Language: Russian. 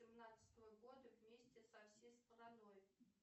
семнадцатого года вместе со всей страной